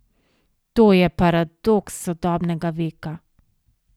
To je paradoks sodobnega veka!